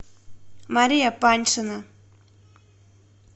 мария паньшина